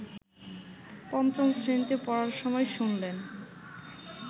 পঞ্চম শ্রেণীতে পড়ার সময় শুনলেন